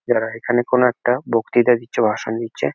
এরা এখানে কোনো একটা বক্তৃতা দিচ্ছে ভাষণ দিচ্ছে।